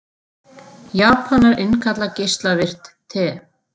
Japanar innkalla geislavirkt te